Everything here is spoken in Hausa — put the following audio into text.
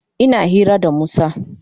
Ina hira da Musa.